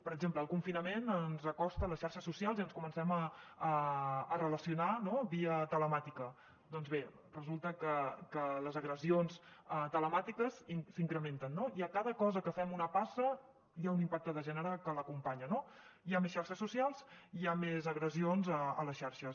per exemple el confinament ens acosta a les xarxes socials i ens comencem a relacionar via telemàtica doncs bé resulta que les agressions telemàtiques s’incrementen no i a cada cosa que fem una passa hi ha un impacte de gènere que l’acompanya no hi ha més xarxes socials hi ha més agressions a les xarxes